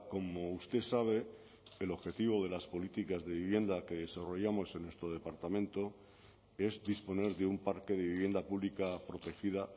como usted sabe el objetivo de las políticas de vivienda que desarrollamos en nuestro departamento es disponer de un parque de vivienda pública protegida